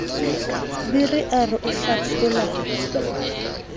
biri a re o hlaphola